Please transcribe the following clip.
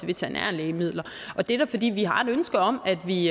veterinære lægemidler det er da fordi vi har et ønske om at vi